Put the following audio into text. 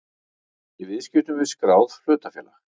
í viðskiptum við skráð hlutafélag.